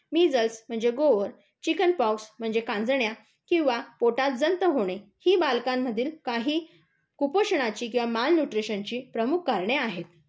Measles म्हणजे गोवर, chicken pox म्हणजे कांजण्या किंवा पोटात जंत होणे, ही बालकांमधील काही कुपोषणाची किंवा माल न्यूट्रिशनची प्रमुख कारणे आहेत.